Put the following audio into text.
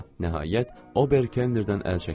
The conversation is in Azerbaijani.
Nəhayət, Ober Kennerdən əl çəkmədi.